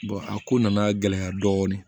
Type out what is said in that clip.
a ko nana gɛlɛya dɔɔni